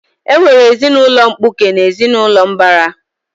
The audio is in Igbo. E nwere ezinaụlọ mkpuke na ezinaụlọ mbara